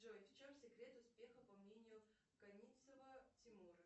джой в чем секрет успеха по мнению каницева тимура